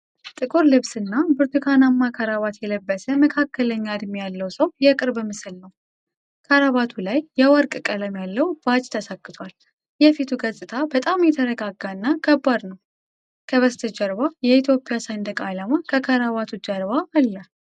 ጥቁር ልብስና ብርቱካናማ ክራቫት የለበሰ መካከለኛ ዕድሜ ያለው ሰው የቅርብ ምስል ነው። ክራቫቱ ላይ የወርቅ ቀለም ያለው ባጅ ተሰክቷል። የፊቱ ገፅታ በጣም የተረጋጋና ከባድ ነው። ከበስተጀርባ የኢትዮጵያ ሰንደቅ ዓላማ ከክራቫቱ ጀርባ አለ።